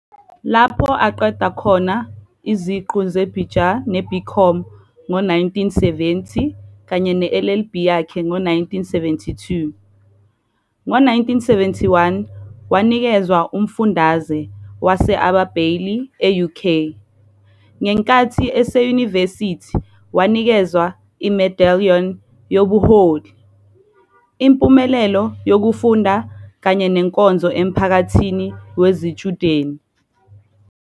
Lapho aqeda khona iziqu zeBJur neBCom ngo-1970 kanye ne-LLB yakhe ngo-1972. Ngo-197,1 wanikezwa umfundaze wase-Abe Bailey e-UK. Ngenkathi eseyunivesithi wanikezwa i-medallion yobuholi, impumelelo yokufunda kanye nenkonzo emphakathini wezitshudeni.